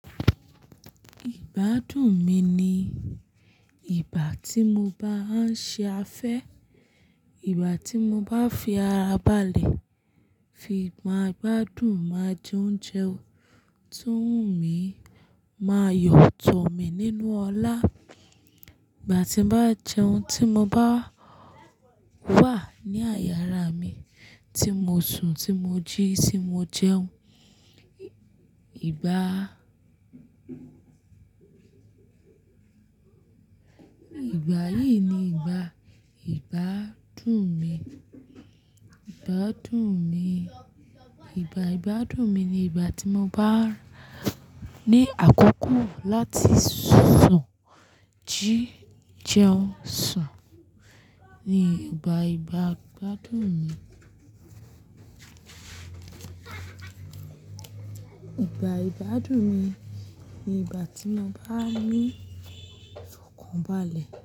Ìgbádùn mi ni ìgbà tí mo bá ń ṣe afẹ́, ìgbà tí mo bá fi ara ba'le, fi máa gbádùn máa jẹ oúnjẹ to ń wù mí, máa yọ̀tọ̀ mi nínú ọlá. Ìgbà tí m bá jẹun, tí mo bá wà ní àyàra mi, tí mo sùn, tí mo jí, tí mo jẹun. Ìgbà yìí ni ìgbà ìgbádùn mi. Ìgbádùn mi, ìgbà ìgbádùn mi ni ìgbà tí mo bá ní àkókò láti sùn, jí jẹun, sùn. Ni ìgbà ìgbádùn mi. Ìgbà ìgbádùn mi ni ìgbà tí mo bá ní ìfọ̀kan ba'le.